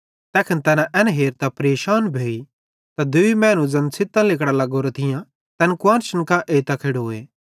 तैखन तैना एन हेरतां परेशान भोई त दूई मैनू ज़ैन छ़ित्तां लिगड़ां लेग्गोरां थियां तैन कुआन्शन कां एइतां खेड़ोए